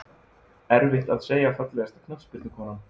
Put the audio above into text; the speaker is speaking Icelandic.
Erfitt að segja Fallegasta knattspyrnukonan?